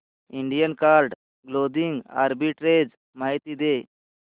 Indian card clothing arbitrage माहिती दे